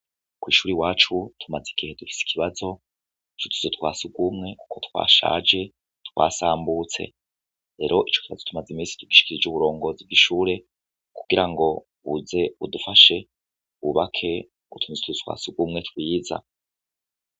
kw’ishur’iwacu tumaze igihe dufise ikibazo, c’utuzu twa sugumwe ko twashaje twasambutse rero ico kibazo tumaze iminsi tugishikirij' uburongozi bw'ishure, kugira ngo buze budufashe bubake utundi tuzu twasugumwe twiza.